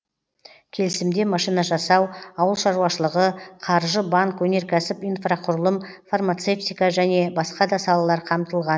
келісімде машина жасау ауыл шаруашылығы қаржы банк өнеркәсіп инфрақұрылым фармацевтика және басқа да салалар қамтылған